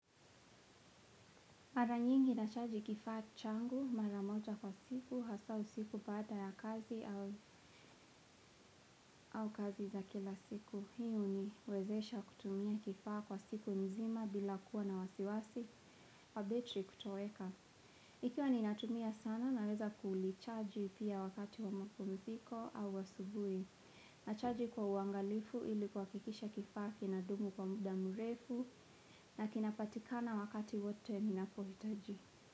Mara nyingi na chaji kifaa changu mara moja kwa siku, hasa usiku baada ya kazi au au kazi za kila siku. Hii huniwezesha kutumia kifaa kwa siku mzima bila kuwa na wasiwasi, wabetri kutoweka. Ikiwa ni natumia sana naweza kuulichaji pia wakati wa makumziko au asubuhi. Na chaji kwa uangalifu ili kuhakikisha kifaa kina dumu kwa muda mrefu na kinapatikana wakati wote ninapohitaji.